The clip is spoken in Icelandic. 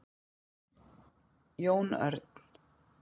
Jón Örn,